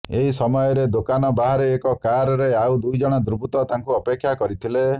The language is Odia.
ଏହି ସମୟରେ ଦୋକାନ ବାହାରେ ଏକ କାର୍ରେ ଆଉ ଦୁଇ ଜଣ ଦୁର୍ବୃତ୍ତ ତାଙ୍କୁ ଅପେକ୍ଷା କରିଥିଲେ